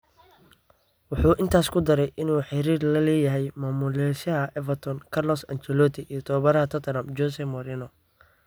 Wuxuu intaas ku daray inuu xiriir la leeyahay maamulayaasha Everton Carlo Ancelotti iyo tababaraha Tottenham Jose Mourinho.